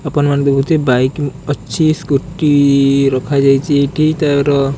ଆପଣମାନେ ଦେଖିଥିବେ ବାଇକ୍ ଅ ଛି ସ୍କୁଟି ରଖାଯାଇଛି ଏ କେଇ ତାର--